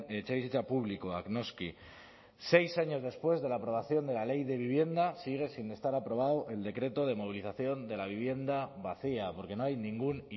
etxebizitza publikoak noski seis años después de la aprobación de la ley de vivienda sigue sin estar aprobado el decreto de movilización de la vivienda vacía porque no hay ningún